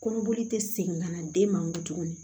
Kɔnɔboli tɛ segin ka na den man kun tuguni